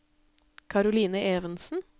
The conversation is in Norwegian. Karoline Evensen